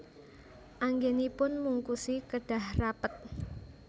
Anggenipun mungkusi kedah rapet